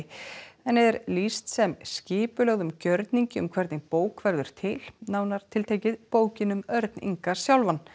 henni er lýst sem skipulögðum gjörningi um hvernig bók verður til nánar tiltekið bókin um Örn Inga sjálfan